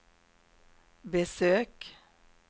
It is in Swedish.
besök